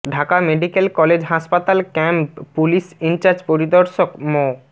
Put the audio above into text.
Dhaka medical college হাসপাতাল camp police incharge পরিদর্শক মো